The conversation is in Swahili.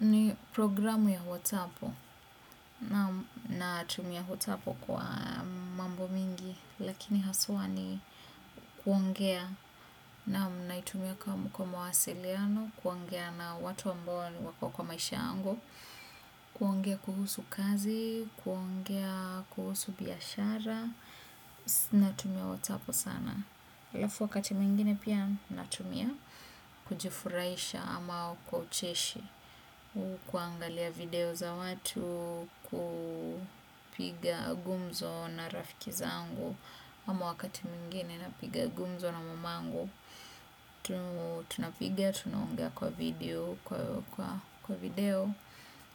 Ni programu ya WhatsApu. Na tumia hotapo kwa mambo mingi, lakini haswa ni kuongea. Naam, naitumia kwa mawasiliano kuongea na watu ambao wako kwa maisha yangu, kuongea kuhusu kazi, kuongea kuhusu biashara, natumia WhatsApu sana, lafu wakati mwingine pia natumia kujifuraisha ama kwa ucheshi ukuangalia video za watu, kupiga gumzo na rafiki zangu, ama wakati mwingine napiga gumzo na mamangu. Napiga, tunaongea kwa video